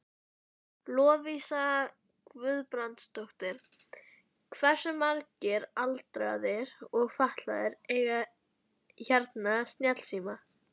Lovísa Guðbrandsdóttir: Hversu margir aldraðir og fatlaðir eiga hérna snjallsíma?